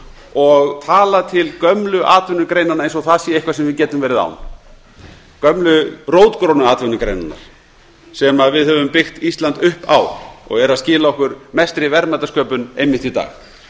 og tala til gömlu atvinnugreinanna eins og það sé eitthvað sem við getum verið án gömlu rótgrónu atvinnugreinanna sem við höfum byggt ísland upp á og er að skila okkur mestri verðmætasköpun einmitt í dag